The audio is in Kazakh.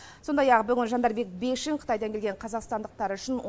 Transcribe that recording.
сондай ақ жандарбек бекшин қытайдан келген қазақстандықтар үшін